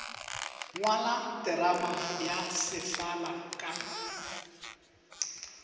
ngwala terama ya sefala ka